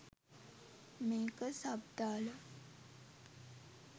මේක සබ් දාල